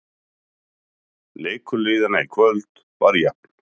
Leikur liðanna í kvöld var jafn